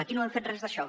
aquí no hem fet res d’això